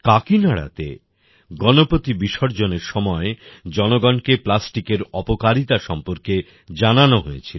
কাকিনাডা তে গণপতি বিসর্জন এর সময় জনগণকে প্লাস্টিকের অপকারিতা সম্পর্কে জানানো হয়েছিল